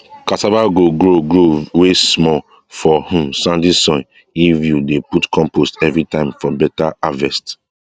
cassava go grow grow well small for um sandy soils if you dey put compost everytime for better harvest